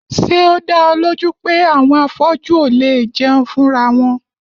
Ṣé o dá ọ lójú pé àwọn afọ́jú ò léè jẹun fúnra wọn?